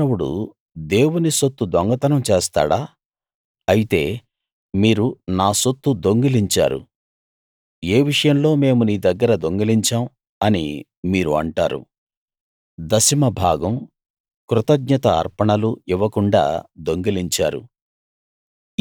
మానవుడు దేవుని సొత్తు దొంగతనం చేస్తాడా అయితే మీరు నా సొత్తు దొంగిలించారు ఏ విషయంలో మేము నీదగ్గర దొంగిలించాం అని మీరు అంటారు దశమ భాగం కృతజ్ఞత అర్పణలు ఇవ్వకుండా దొంగిలించారు